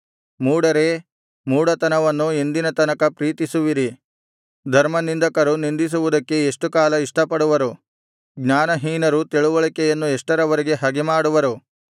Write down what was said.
ಮೂಢರೇ ಮೂಢತನವನ್ನು ಎಂದಿನ ತನಕ ಪ್ರೀತಿಸುವಿರಿ ಧರ್ಮನಿಂದಕರು ನಿಂದಿಸುವುದಕ್ಕೆ ಎಷ್ಟುಕಾಲ ಇಷ್ಟಪಡುವರು ಜ್ಞಾನಹೀನರು ತಿಳಿವಳಿಕೆಯನ್ನು ಎಷ್ಟರವರೆಗೆ ಹಗೆಮಾಡುವರು